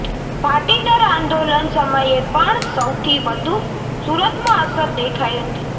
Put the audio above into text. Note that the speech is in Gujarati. પાટીદાર આંદોલન સમયે પણ સૌથી વધુ સુરતમાં અસર દેખાઈ હતી